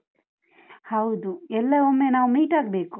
ಹೌದು, ಎಲ್ಲ ಒಮ್ಮೆ ನಾವು meet ಆಗ್ಬೇಕು.